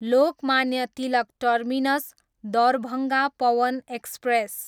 Lokmanya Tilak terminus, Darbhanga Pawan express